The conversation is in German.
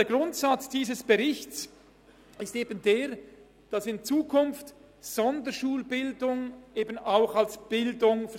Der Grundsatz dieses Berichts ist eben der, dass in Zukunft Sonderschulbildung eben auch als Bildung